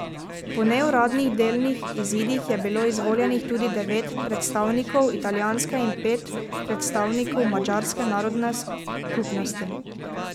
Po neuradnih delnih izidih je bilo izvoljenih tudi devet predstavnikov italijanske in pet predstavnikov madžarske narodne skupnosti.